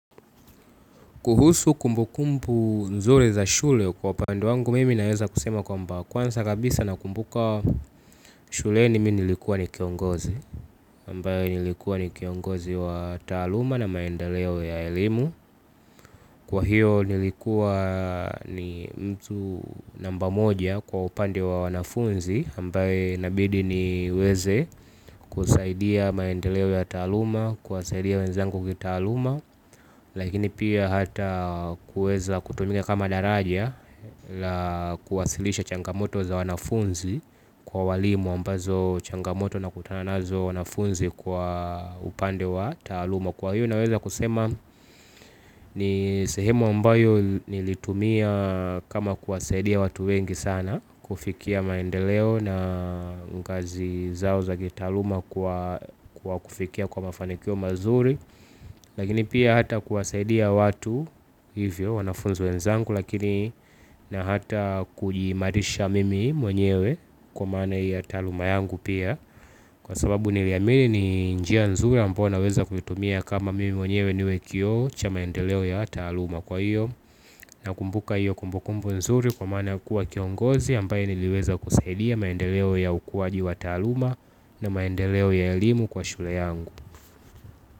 Kuhusu kumbukumbu nzuri za shule kwa upande wangu mimi naeza kusema kwamba kwanza kabisa nakumbuka shule ni mimi nilikuwa ni kiongozi aMbaye nilikuwa ni kiongozi wa taaluma na maendeleo ya ilimu. Kwa hiyo nilikuwa ni mtu namba moja kwa upande wa wanafunzi ambaye inabidi niweze kusaidia maendeleo ya taaluma, kuwasaidia wenzangu kitaluma. Lakini pia hata kueza kutumika kama daraja la kuwasilisha changamoto za wanafunzi kwa walimu ambazo changamoto nakutana nazo wanafunzi kwa upande wa taaluma. Kwa hiyo naweza kusema ni sehemu ambayo nilitumia kama kuwasaidia watu wengi sana kufikia maendeleo na kazi zao za kitaaluma kwa kufikia kwa mafanikio mazuri. Lakini pia hata kuwasaidia watu hivyo wanafunzi wenzangu lakini na ata kujiimaarisha mimi mwenyewe kwa maana ya taaluma yangu pia. Kwa sababu niliamini ni njia nzuri ambayo naweza kutumia kama mimi mwenyewe niwe kioo cha maendeleo ya taaluma kwa hiyo nakumbuka hiyo kumbukumbu nzuri kwa maana kuwa kiongozi ambaye niliweza kusaidia maendeleo ya ukuaji wa taaluma na maendeleo ya elimu kwa shule yangu.